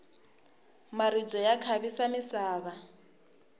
maribye ya khavisa misava